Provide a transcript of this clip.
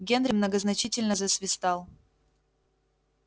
генри многозначительно засвистал